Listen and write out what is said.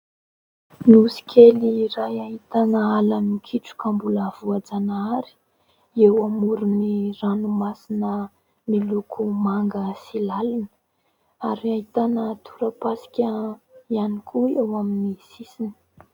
Nosy kely iray ahitana ala mikitroka mbola voajanahary eo amoron'ny ranomasina miloko manga sy lalina ary ahitana tora-pasika ihany koa eo amin'ny sisiny.